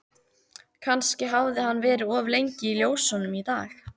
Kannski hafði hann verið of lengi í ljósunum í dag.